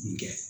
Nin kɛ